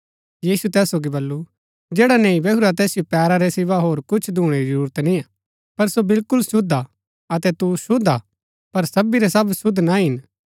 यीशुऐ तैस सोगी बल्लू जैडा नैहई बैहूरा तैसिओ पैरा रै सिवा होर कुछ धूणै री जरूरत निय्आ पर सो बिलकुल शुद्ध हा अतै तु शुद्ध हा पर सबी रै सब शुद्ध ना हिन